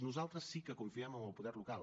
nosaltres sí que confiem en el poder local